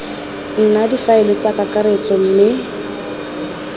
nna difaele tsa kakaretso mme